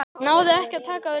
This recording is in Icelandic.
Náði ekki takt við leikinn.